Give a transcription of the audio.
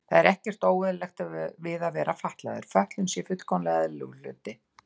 Það sé ekkert óeðlilegt við að vera fatlaður, fötlun sé fullkomlega eðlilegur hlutur.